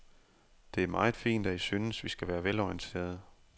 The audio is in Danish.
Det er meget fint, at I synes, vi skal være velorienterede.